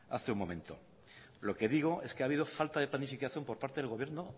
hace un momento lo que digo es que ha habido falta de planificación por parte del gobierno